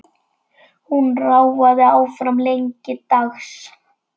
Hún ráfaði áfram lengi dags.